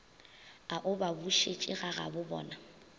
a o ba bušetše gagabobona